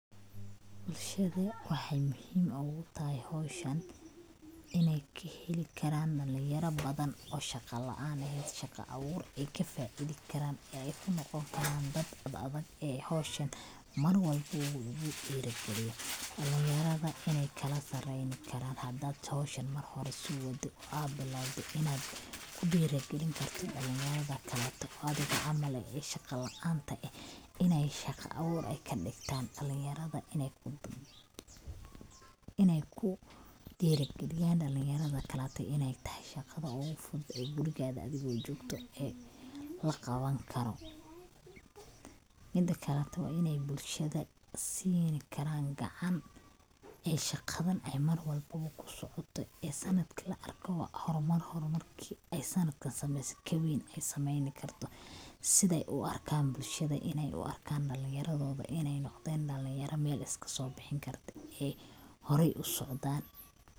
Bulshadu waxay muhim ogu tahay howshan inay kaheli karaan dhalin yara badan oo shaqa laan ehed shaqa abuur ayka faidi karaan ayku noqon karaan dad ad adag ee howshan Mar walbo hadii lugu dhiri geliyo dhalin yarada inay kala sareyni karan hadad howshan hor usi waado ad bilawdo inad kudhiiri gelin kartid dhalin yarada kaleto oo adiga canal eh oo shaqa laanta eh inay shaqa abuur ay kadhigtan dhalin yarada, inay kudhiiri geliyan dhalin yarada kaleto inay tahay shaqada ogu fudud ee gurigaga adigo jogto ee laqaban kaaro, mida kaleto inay bulshada sini karaan gacan ee shaqadan ee Mar walbobo kusocoto ee sanadki la arkoba hormar, hormarki ay sandakan sameeyso kaweyn ay sameeyni karto siday u arkan bulshada inay u arkan dhalin yaradoda inay noqdeen dhalin yara Mel iskaso bixin karto horey usocdan